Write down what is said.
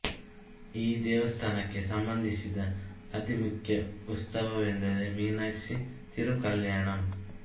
ಈ ದೇವಸ್ಥಾನಕ್ಕೆ ಸಂಬಂಧಿಸಿದ ಅತಿ ಮುಖ್ಯ ಉತ್ಸವವೆಂದರೆ ಮೀನಾಕ್ಷಿ ತಿರುಕಲ್ಯಾಣಂ